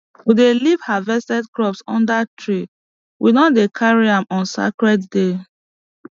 we dey leave harvested crops under tree we no dey carry am on sacred day